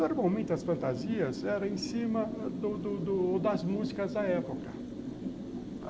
Não eram muitas fantasias, eram em cima do do do das músicas da época.